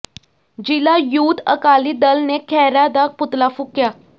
ਜ਼ਿਲ੍ਹਾ ਯੂਥ ਅਕਾਲੀ ਦਲ ਨੇ ਖਹਿਰਾ ਦਾ ਪੁਤਲਾ ਫੂਕਿਆ